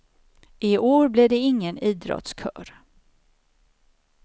I år blir det ingen idrottskör.